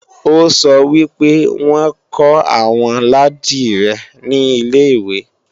Ó sọ wí pé wọ́n kọ́ àwọn ládìrẹ ní ilè-ìwé